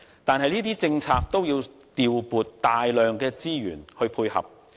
但是，這些政策均需要調撥大量的資源來配合。